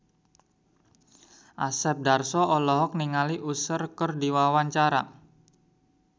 Asep Darso olohok ningali Usher keur diwawancara